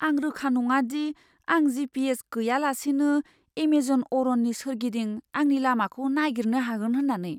आं रोखा नङा दि आं जी.पी.एस. गैयालासेनो एमेज'न अरननि सोरगिदिं आंनि लामाखौ नागिरनो हागोन होन्नानै।